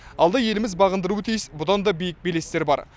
алда еліміз бағындыруы тиіс бұдан да биік белестер бар